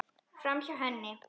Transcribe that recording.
Framhjá henni.